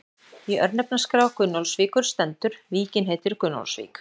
Í örnefnaskrá Gunnólfsvíkur stendur: Víkin heitir Gunnólfsvík.